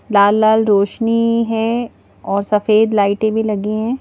लाल लाल रोशनी है और सफेद लाइटें भी लगी हैं.